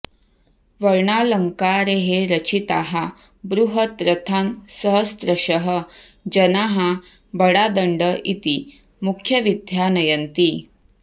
वर्णालङ्कारैः रचिताः बृहत् रथान् सहस्रशः जनाः बडादण्ड इति मुख्यवीथ्या नयन्ति